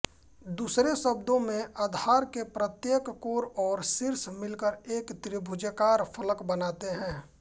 दूसरे शब्दों में आधार के प्रत्येक कोर और शीर्ष मिलकर एक त्रिभुजाकार फलक बनाते हैं